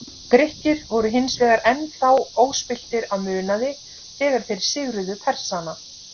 Grikkir voru hins vegar enn þá óspilltir af munaði þegar þeir sigruðu Persana.